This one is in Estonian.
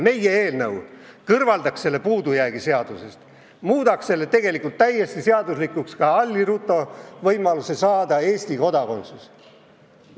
Meie eelnõu kõrvaldaks selle puudujäägi, muudaks selle lahenduse täiesti seaduslikuks ja ka Alli Rutto saaks eluks ajaks Eesti kodakondsuse.